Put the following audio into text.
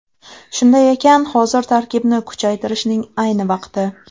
Shunday ekan, hozir tarkibni kuchaytirishning ayni vaqti.